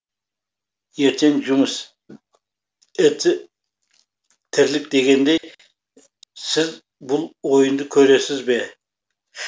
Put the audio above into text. ертең жұмыс іт тірлік дегендей сіз бұл ойынды көресіз бе